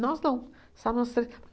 Nós não, só nós três.